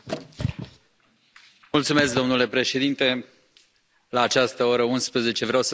Domnule președinte, la această oră, 23.00, vreau să vorbesc despre pesta porcină.